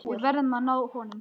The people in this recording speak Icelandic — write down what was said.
Við verðum að ná honum.